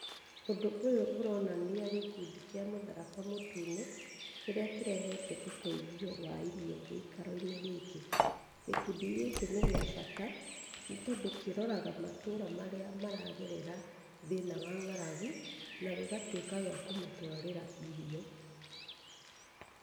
Ũndũ ũyũ ũronania gĩkundi kĩa mũtharaba mũtune kĩrĩa kĩrehete ũteithio wa irio gĩikaro-inĩ gĩkĩ. Gĩkundi gĩkĩ nĩ gĩa bata tondũ kĩroraga matũra marĩa maragerera thĩna wa ng'aragu na gĩgatuĩka gĩa kũmatwarĩra irio.